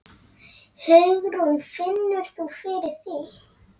Hugrún: Finnur þú fyrir því?